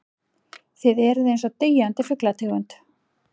Þið eruð einsog deyjandi fuglategund.